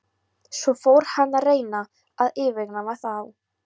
Svo fór hann að reyna að yfirgnæfa þá.